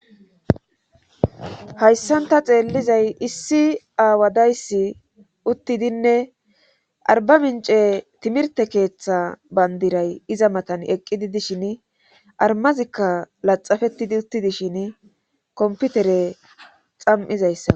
hayssanta xeellizay issi aawadayssi uttidinne arba mince timirte keeththa bandiray iza matan eqqidi dishin armazikka laxafettidi uttidishin komputere xam7izayssa